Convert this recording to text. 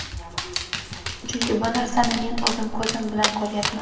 Chunki bu narsani men o‘zim ko‘zim bilan ko‘ryapman.